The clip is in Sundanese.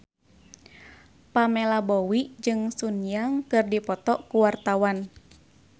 Pamela Bowie jeung Sun Yang keur dipoto ku wartawan